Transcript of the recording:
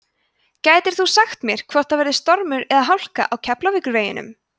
gætir þú sagt mér hvort það er stormur eða hálka á keflavíkurveginum